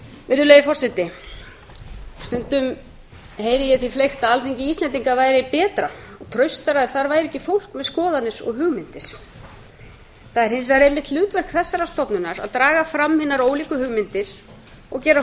virðulegi forseti stundum heyri ég því fleygt að alþingi íslendinga væri betra og traustara ef þar væri ekki fólk með skoðanir og hugmyndir það er hins vegar einmitt hlutverk þessarar stofnunar að draga fram hinar ólíku hugmyndir og gera